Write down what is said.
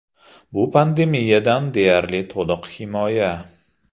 Bu pandemiyadan deyarli to‘liq himoya.